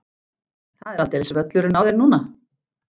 Það er aldeilis völlurinn á þér núna!